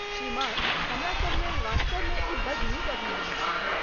श्रीमान, हमरा सब लेल वास्तवमे ई बड़ नीक अभियान छल।